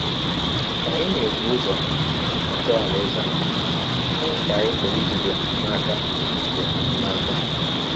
Ka anyị na - ebụ ụzọ achọ Alaeze ahụ, gịnị ka anyị pụrụ ijide n’aka ijide n’aka?